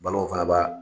Balo fana b'a